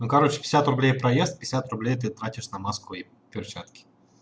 ну короче пятьдесят рублей проезд пятьдесят рублей ты тратишь на маску и перчатки